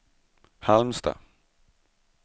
Halmstad